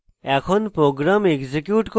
এখন program execute করতে